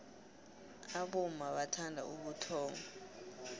abomma bathanda ubuxotho